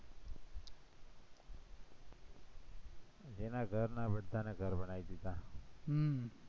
જેના ઘર ના એના બધાના ઘર બનાઈ દીધા હમ